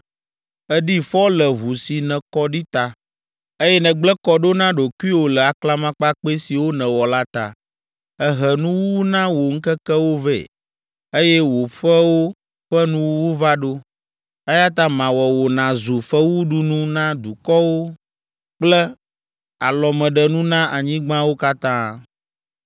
Èɖi fɔ le ʋu si nèkɔ ɖi ta, eye nègblẽ kɔ ɖo na ɖokuiwò le aklamakpakpɛ siwo nèwɔ la ta. Èhe nuwuwu na wò ŋkekewo vɛ, eye wò ƒewo ƒe nuwuwu va ɖo. Eya ta mawɔ wò nàzu fewuɖunu na dukɔwo kple alɔmeɖenu na anyigbawo katã.